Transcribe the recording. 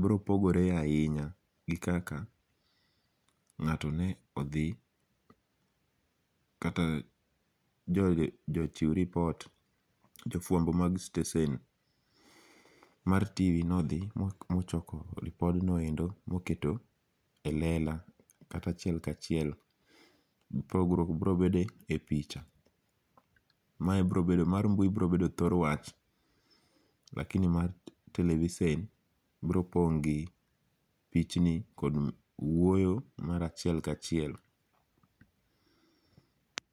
bropogore ahinya gi kaka ngao'tone othi kata jo chiw report jo fuambo mag stesen mar TV nothi mochoko repodno endo ma oketo e lela kata achiel ka chiel, pogruok biro bede epicha, mar mbui biro bedo thor wach lakini mar televisen bro pong' gi pichni lakini wuoyo mar achiel ka chiel.